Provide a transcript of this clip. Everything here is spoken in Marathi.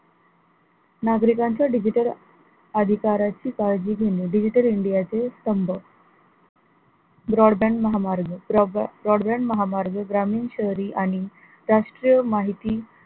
नागरिकांच्या digital अधिकाराची काळजी घेणे digital india चे स्तंभ broadband महामार्ग broadband broadband महामार्ग ग्रामीण शहरी आणि राष्ट्रीय माहिती,